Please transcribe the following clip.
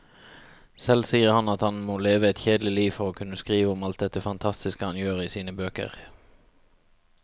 Selv sier han at han må leve et kjedelig liv for å kunne skrive om alt dette fantastiske han gjør i sine bøker.